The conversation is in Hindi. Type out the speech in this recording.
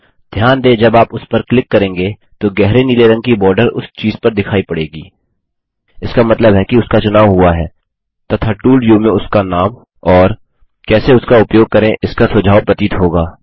ध्यान देंजब आप उस पर क्लिक करेंगे तो गहरे नीले रंग की बॉर्डर उस चीज़ पर दिखाई पड़ेगी इसका मतलब है कि उसका चुनाव हुआ है तथा टूल व्यू में उसका नाम और कैसे उसका उपयोग करें इसका सुझाव प्रतीत होगा